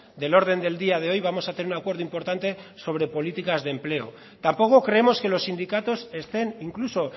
del orden del día de hoy vamos a tener un acuerdo importante sobre políticas de empleo tampoco creemos que los sindicatos estén incluso